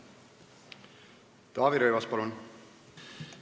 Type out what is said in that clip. Taavi Rõivas, palun!